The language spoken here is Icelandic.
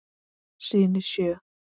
Syni sjö.